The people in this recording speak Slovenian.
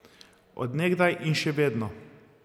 Od nekdaj in še vedno.